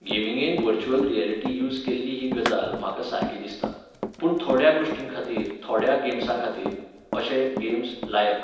गेमींगेन virtual reality use केल्ली ही गजाल म्हाका सारकी दिसता. पूण थोड्या गोष्टींखातीर थोड्या गेम्सांखातीर. अशे, गेम्स, लायक...